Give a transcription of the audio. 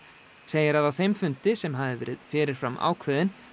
segir að á þeim fundi sem hafi verið fyrir fram ákveðinn